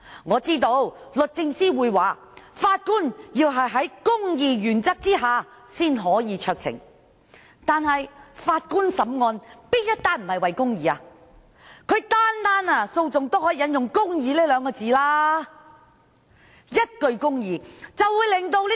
我知道律政司會說，法官要按公義的原則行使酌情權，但法官所審理的案件，有哪一宗不是為了公義的呢？